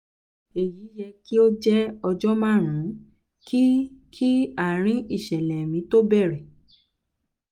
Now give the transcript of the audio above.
èyí yẹ̀ kí ó jẹ́ ọjọ́ márùn ún kí kí àárín ìṣẹ̀lẹ̀ mi tó bẹ̀rẹ̀